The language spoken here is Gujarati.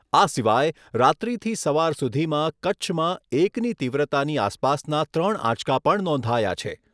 આ સિવાય રાત્રીથી સવાર સુધીમાં કચ્છમાં એકની તીવ્રતાની આસપાસના ત્રણ આંચકા પણ નોંધાયા છે.